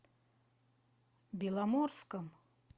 беломорском